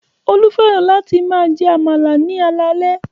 Olú fẹ́ràn láti máa jẹ àmàlà ní alaalẹ́